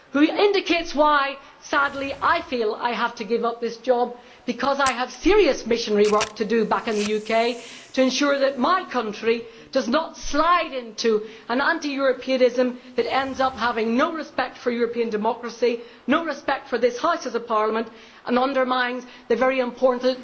He demonstrates why, sadly, I feel I have to give up this job because I have serious missionary work to do back in the UK to ensure that my country does not slide into an anti Europeanism that ends up having no respect for European democracy, no respect for this House as a Parliament and undermines the very important